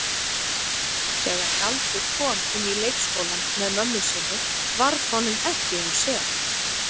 Þegar Galdur kom inn í leikskólann með mömmu sinni varð honum ekki um sel.